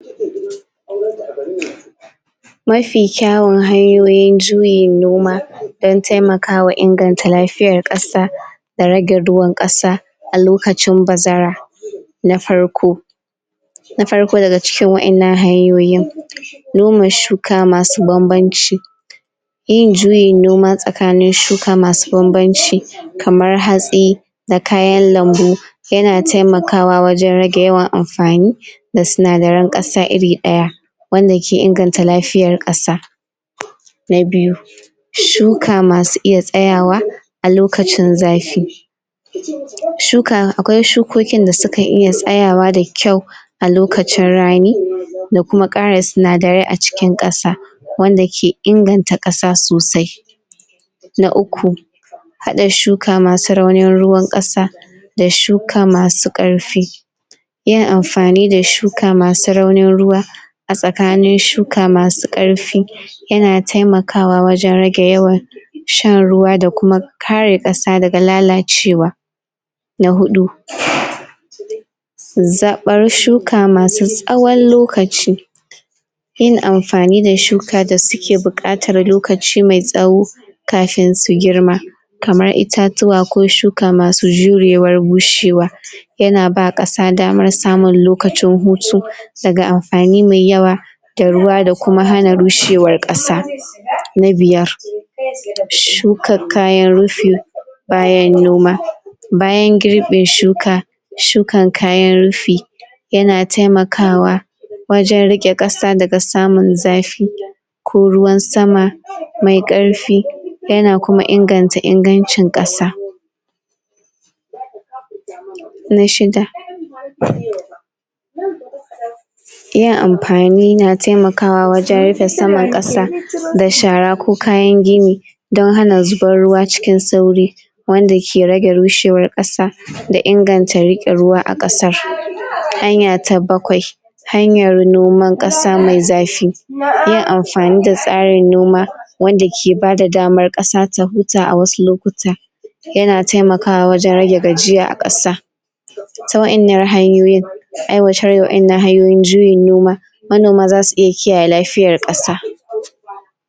???? mafi kyawun hanyoyin juyin noma don taimakawa inganta lafiyar kasa da rage ruwan ƙasa a lokacin bazara? na farko na farlo daga cikin wa innan hanyoyin noma shuka masu banbanci yin juyin noma tsakanin shuka masu banbanci kamar hatsi da kayan lambu yana taimakwa wajen rage yawan amfani da sinadaran ƙasa iri ɗaya wanda ke inganta lafiyar ƙasa? na biyu shuka masu iya tsayawa a lokacin zafi shuka akwai shukokin da sukan iya tsayawa da kyau a lokacin rani da kuma ƙara sinadarai a cikin kasa wanda ke inganta ƙasa sosai na uku haɗa shuka masu raunin ruwa ƙasa da shuka masu ƙarfi yin amfani da shuka masu raunin ruwa a tsakanin shuka masu karfi yana taimakawa wajen rage yawan shan ruwa da kuma kare ƙasa daga lalacewa na huɗu ?/? zaɓar shuka masu tsawon lokaci yin amfani da shuka da suke bukatar lokaci mai tsawo kafin su girma kamar itatuwa ko shuka masu jurewar bushewa / yana ba ƙasa damar samun lokacin hutu daga amfani mai yawa da ruwa da kuma hana rushewar ƙasa na biyar / shukar kayan rufi bayan noma bayan girbe shuka shukar kayan rufi yana taimakawa wajen riƙe kasa daga samun zafi ko ruwan sama mai ƙarfi yana kuma inganta ingancin kasa?? na shida?? yin amfani na taimakawa wajen rufe saman kasa da shara ko kayan gini don hana zubar ruwa cikin sauri wanda ke rage rushewar ƙasa da ingannta riƙe ruwa a ƙasar hanya ta bakwai hanyar nomar ƙasa mai zafi yin amfani da tsarin noma wanda ke bada damar ƙasa ta huta a wasu lokuta yana taimakawa wajen rage gajiya a ƙasa ta wa innan hanyoyin aiwatar d waɗannan hanyoyin juyin noma manoma zasu iya kiyaye lafiyar kasa